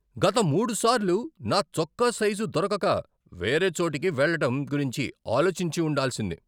గత మూడుసార్లు నా చొక్కా సైజు దొరకక వేరే చోటికి వెళ్లటం గురించి ఆలోచించి ఉండాల్సింది.